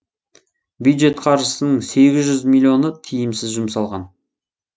бюджет қаржысының сегіз жүз миллионы тиімсіз жұмсалған